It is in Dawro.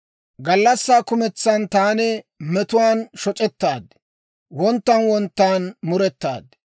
Gallassaa kumentsan taani metuwaan shoc'ettaad; wonttan wonttan murettaad.